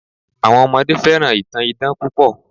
Àwọn ọmọdé fẹ́ràn ìtàn idán púpọ̀